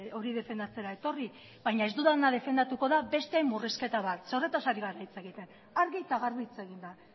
hori defendatzera etorri baina ez dudana defendatuko da besteen murrizketa bat zeren eta horretaz ari gara hitz egiten argi eta garbi hitz eginda